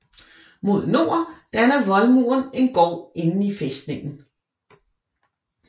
Mod nord danner voldmuren en gård inde i fæstningen